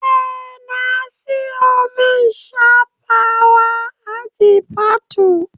Eh na siyo main shafawa a Jifatu